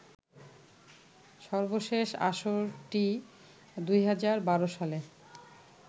সর্বশেষ আসরটি ২০১২ সালে